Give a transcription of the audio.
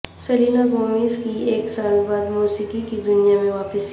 Selena Gomez کی ایک سال بعد موسیقی کی دنیا میں واپسی